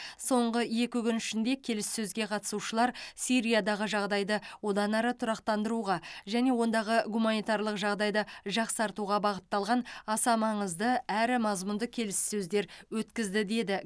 соңғы екі күн ішінде келіссөзге қатысушылар сириядағы жағдайды одан ары тұрақтандыруға және ондағы гуманитарлық жағдайды жақсартуға бағытталған аса маңызды әрі мазмұнды келіссөздер өткізді деді